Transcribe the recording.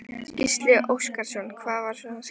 Gísli Óskarsson: Hvað var svona skemmtilegt?